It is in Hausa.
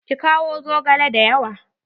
Ki kawo zogale dayawa.